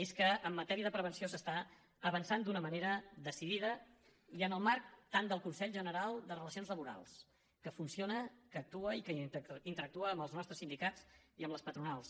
és que en matèria de prevenció s’està avançant d’una manera decidida i en el marc tant del consell general de relacions laborals que funciona que actua i que interactua amb els nostres sindicats i amb les patronals